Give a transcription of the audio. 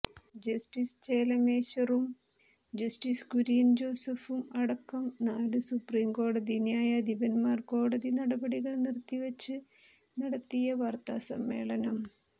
justice ചെലമേശ്വറും justice Kurian ജോസഫും അടക്കം നാല് സുപ്രീം കോടതി ന്യായാധിപന്മാർ കോടതി നടപടികൾ നിർത്തിവച്ച് നടത്തിയ വാർത്താസമ്മേളനം